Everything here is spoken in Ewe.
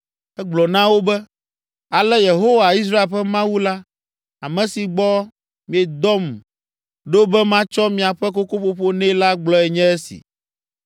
Egblɔ na wo be, “Ale Yehowa Israel ƒe Mawu la, ame si gbɔ miedom ɖo be matsɔ miaƒe kokoƒoƒo nɛ la gblɔe nye esi: